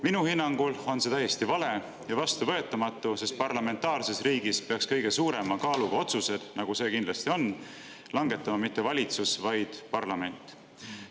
Minu hinnangul on see täiesti vale ja vastuvõetamatu, sest parlamentaarses riigis peaks kõige suurema kaaluga otsused, nagu see kindlasti on, langetama mitte valitsus, vaid parlament.